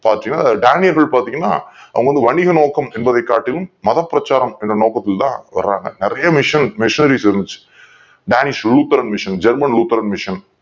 டேனியர்கள் பார்த்தீங்கன்னா வணிக நோக்கம் என்பதை காட்டிலும் மதப் பிரச்சாரம் என்கிற நோக்கத்தில் தான் வராங்க நிறைய Missionaries இருந்துச்சு Danis Luther MissionGerman Luther Mission